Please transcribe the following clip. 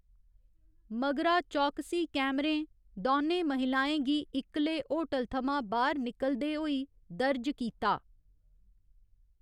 मगरा, चौकसी कैमरें दौनें महिलाओं गी इक्कले होटल थमां बाह्‌र निकलदे होई दर्ज कीता।